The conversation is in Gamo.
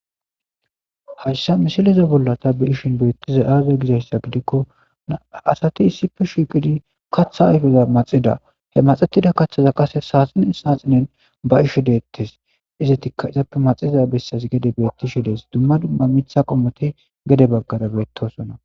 hayssa misileza bolla ta be7ishin beettiza aaza gizayssa gidikko aasati issife shiqhidi kaththa ayfeza maxida he maxetida kaththaza qase saaxinen saaxinen baishe deettes izetikka izappe maxiza bessas gede beettishi dees dumma dumma mitha qomote gede baggada beettosona